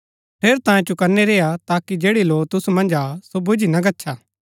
ठेरै तांयें चौकनै रेआ ताकि जैड़ी लौ तुसु मन्ज हा सो बूझी ना गच्छा